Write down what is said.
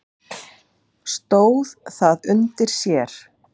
Stóð það undir sér?